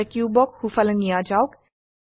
এতিয়া কিউবক সোফালে নিয়া যাওক